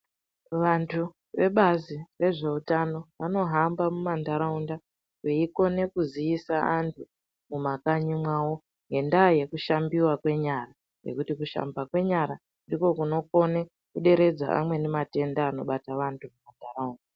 Vantu vebazi rezveutano vanohamba mumantaraunda veikone kuziise antu mumakanyi mwawo ngendaa yekushambiwe kwenyara, ngokuti kushambiwe kwenyara ndiko kunokone kuderedza amweni matenda anobate vantu muntaraunda.